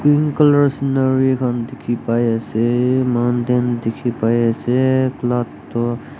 green colour scenario khan dikhi pai ase mountain dikhi pai ase cloud toh.